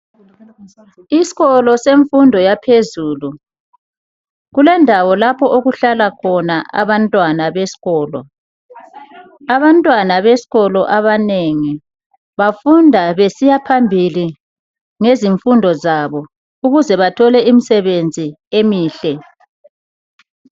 Isikolo semfundo yaphezulu kulendawo lapho okuhlala khona abantwana besikolo. Abantwana besikolo abanengi bafunda besiya phambili ngezimfundo zabo ukuze bathol imisebenzi emihle.